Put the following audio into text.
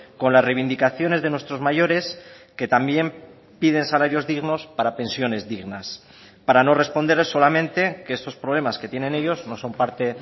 con las reivindicaciones de nuestros mayores que también piden salarios dignos para pensiones dignas para no responder solamente que esos problemas que tienen ellos no son parte